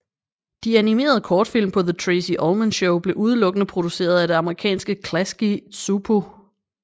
De animerede kortfilm på The Tracey Ullman Show blev udelukkende produceret af det amerikanske Klasky Csupo